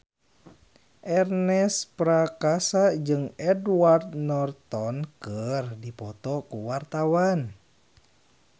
Ernest Prakasa jeung Edward Norton keur dipoto ku wartawan